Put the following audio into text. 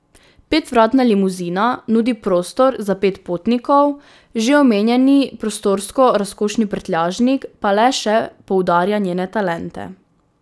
Petvratna limuzina nudi prostor za pet potnikov, že omenjeni prostorsko razkošni prtljažnik pa le še poudarja njene talente.